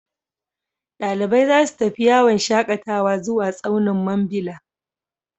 Dalibai za su tafi yawon shakatawa zuwa tsaunin Mambila.